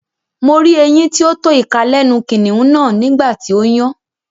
Mo rí eyín tí ó tó ìka lẹ́nu kìnnìún náà nígbà tí ó yàn